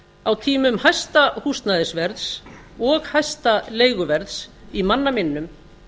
á tímum hæsta húsnæðisverðs og hæsta leiguverðs í manna minnum